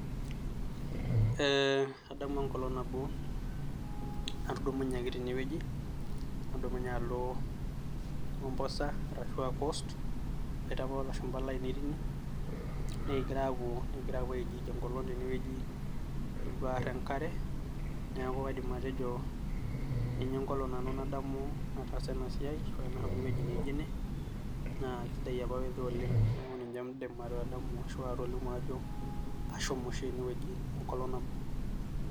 Ee adamu enkolong nabo natudumunye ake tenewueji nadumunye alo mombasa ashua coast kiboita apa olashumba lainei tine , nikingira apuo, nikingira apuo aijiij enkolong tenewueji , nikipuo aar enkare , niaku kaidim atejo ninye enkolong nanu nadamu nataasa siai ashu nashomo ewueji naijo ene naa isidai apa weather oleng . NIaku ninye aidim atadamu ashu atejo ashomo oshi enewueji enkolong nabo.